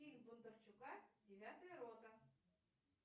фильм бондарчука девятая рота